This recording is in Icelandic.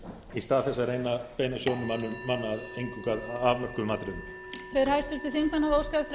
í stað þess að reyna að beina sjónum manna eingöngu að afmörkuðum atriðum